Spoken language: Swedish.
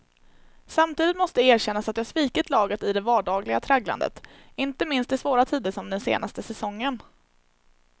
Samtidigt måste erkännas att jag svikit laget i det vardagliga tragglandet, inte minst i svåra tider som den senaste säsongen.